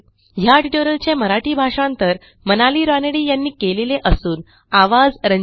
ह्या ट्युटोरियलचे मराठी भाषांतर मनाली रानडे यांनी केलेले असून आवाज